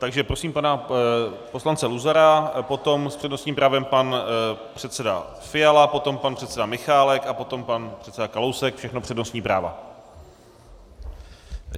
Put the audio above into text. Takže prosím pana poslance Luzara, potom s přednostním právem pan předseda Fiala, potom pan předseda Michálek a potom pan předseda Kalousek, všechno přednostní práva.